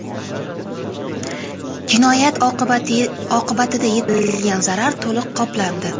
Jinoyat oqibatida yetkazilgan zarar to‘liq qoplandi.